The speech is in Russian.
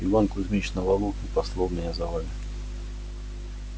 иван кузмич на валу и послал меня за вами